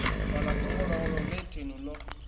fhaḽa ḓongololo ḽe thenu ḽo